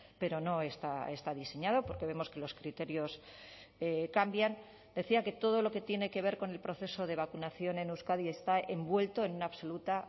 pero no está diseñado porque vemos que los criterios cambian decía que todo lo que tiene que ver con el proceso de vacunación en euskadi está envuelto en una absoluta